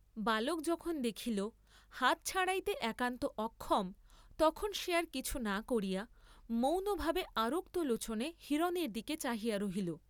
বালক যখন দেখিল হাত ছাড়াইতে একান্ত অক্ষম, তখন সে আর কিছু না করিয়া, মৌনভাবে আরক্ত লোচনে হিরণের দিকে চাহিয়া রহিল।